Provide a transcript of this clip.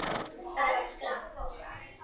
Það var fínt.